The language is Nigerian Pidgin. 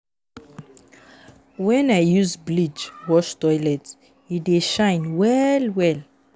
Wen I use bleach wash toilet, e dey shine well-well.